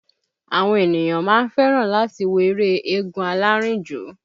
Àwọn ènìyàn máa ń fẹ́ràn láti wo eré eégún alárìnjó